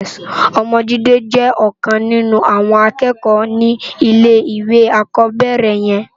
Òmò Jide jè òkan ninú áwòn ákèékò ni ilé iwé ákòbèrè yèn